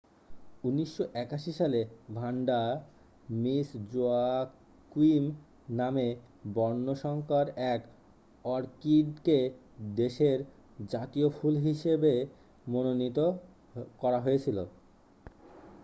1981 সালে Vanda Miss Joaquim নামে বর্ণসঙ্কর এক অর্কিডকে দেশের জাতীয় ফুল হিসাবে মনোনীত করা হয়েছিল